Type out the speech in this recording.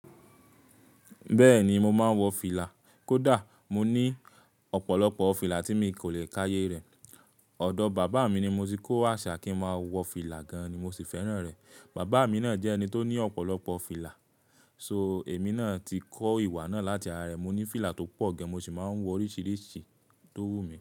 Bẹ́ẹ̀ni mo máa ń wọ fìlà. Kódà mo ní ọ̀pọ̀lọpọ̀ fìlà tí mi kò lè káyé rẹ̀. Ọ̀dọ̀ bàbá mi ni mo ti kó àṣà kí ń máa wọ fìlà gan-an ni mo sì fẹ́ràn rẹ̀. Bàbá mi náà jẹ́ ẹni tó ní ọ̀pọ̀lọpọ̀ fìlà, so èmi náà ti kó ìwà náà láti ara rẹ̀. Mo ní fìlà tó pọ̀ gan mo sì mọ ń wọ oríṣiríṣi tó wù mí.